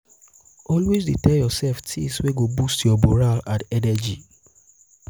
always dey tel urself tins wey go boost yur moral and energy